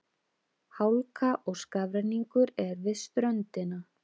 Hálka og skafrenningur er við ströndina